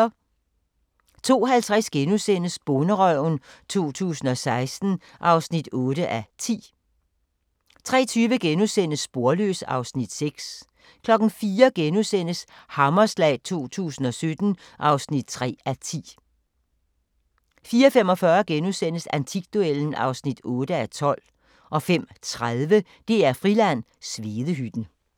02:50: Bonderøven 2016 (8:10)* 03:20: Sporløs (Afs. 6)* 04:00: Hammerslag 2017 (3:10)* 04:45: Antikduellen (8:12)* 05:30: DR-Friland: Svedehytten